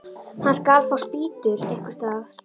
Hann skal fá spýtur einhvers staðar.